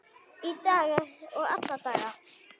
Í dag og alla daga.